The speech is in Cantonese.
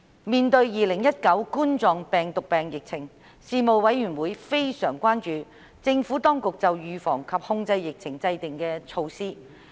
面對2019冠狀病毒病疫情，事務委員會非常關注政府當局就預防及控制疫情制訂的措施。